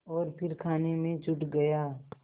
और फिर खाने में जुट गया